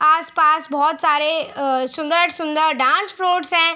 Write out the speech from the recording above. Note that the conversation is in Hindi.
आस-पास बहुत सारे अ सुंदर-सुंदर डांस फ्लोर्स हैं।